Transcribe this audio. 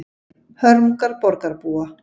Hörmungar borgarbúa